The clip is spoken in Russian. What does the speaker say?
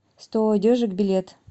сто одежек билет